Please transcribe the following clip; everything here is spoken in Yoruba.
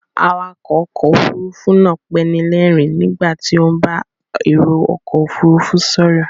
Awakọ̀ ọkọ̀ Òfurufú náà panilerin nígbà tó ń bá èrò ọkọ òfuurufú ṣòro